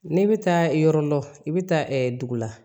Ne bɛ taa yɔrɔ lɔ i bɛ taa dugu la